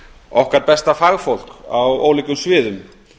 okkar besta fagfólk á ólíkum sviðum